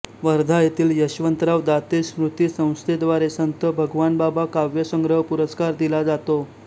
वर्धा येथील यशवंतराव दाते स्मृती संस्थेद्वारे संत भगवानबाबा काव्यसंग्रह पुरस्कार दिला जातो